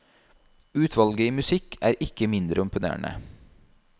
Utvalget i musikk er ikke mindre imponerende.